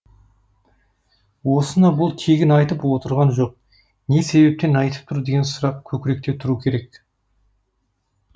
осыны бұл тегін айтып тұрған жоқ не себеппен айтып тұр деген сұрақ көкіректе тұру керек